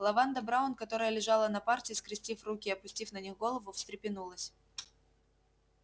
лаванда браун которая лежала на парте скрестив руки и опустив на них голову встрепенулась